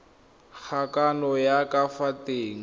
kgokagano ya ka fa teng